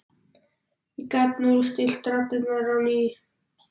ég gat núllstillt radarinn á ný.